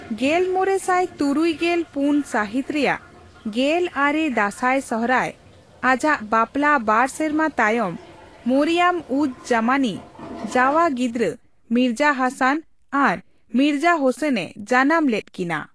ᱜᱮᱞᱢᱚᱲᱮ ᱥᱟᱭ ᱛᱩᱨᱩᱭ ᱜᱮᱞ ᱯᱩᱱ ᱥᱟᱹᱦᱤᱛ ᱨᱮᱭᱟᱜ ᱜᱮᱞ ᱟᱨᱮ ᱫᱟᱥᱟᱭᱼᱥᱚᱦᱨᱟᱭ, ᱟᱡᱟᱜ ᱵᱟᱯᱞᱟ ᱵᱟᱨ ᱥᱮᱨᱢᱟ ᱛᱟᱭᱚᱢ, ᱢᱚᱨᱤᱭᱚᱢᱼᱩᱡᱼᱡᱟᱢᱟᱱᱤ ᱡᱟᱣᱟ ᱜᱤᱫᱽᱨᱟᱹ ᱢᱤᱨᱡᱟ ᱦᱟᱥᱟᱱ ᱟᱨ ᱢᱤᱨᱡᱟ ᱦᱳᱥᱮᱱ ᱮ ᱡᱟᱱᱟᱢ ᱞᱮᱫ ᱠᱤᱱᱟ ᱾